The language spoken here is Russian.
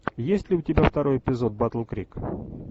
есть ли у тебя второй эпизод батл крик